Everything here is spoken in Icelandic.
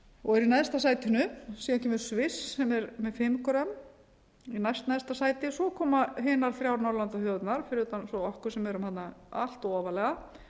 og í neðsta sætinu síðan kemur sviss sem er með fimm grömm í næstneðsta sæti svo koma hinar þrjár norðurlandaþjóðirnar fyrir utan okkur sem erum allt of ofarlega